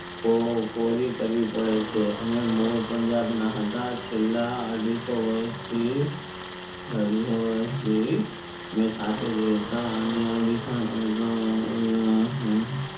પો પોરી કરવી પડે છે અમે મૂડ પંજાબ ના હતા છેલ્લા અઢીસો વરસ થી અઢીસો વરસ થી અમે સાથે જ રહતા અને